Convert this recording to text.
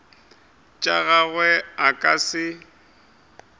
tša gagwe a ka se